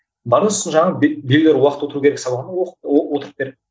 бар да сосын жаңағы біреулер уақыт отыру керек сабағына отырып бер